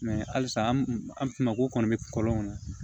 halisa an finmanko kɔni bɛ kɔlɔn kɔnɔ